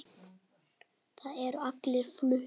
Þeir eru allir fluttir